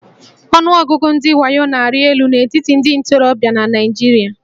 Ọnụọgụgụ ndị wayo na-arị elu n'etiti ndị ntorobịa na Naịjirịa